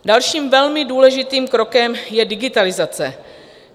Dalším velmi důležitým krokem je digitalizace.